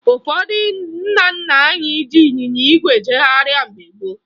Ụfọdụ ndị nna nna anyị ji ịnyịnya ígwè ejegharị mgbe gboo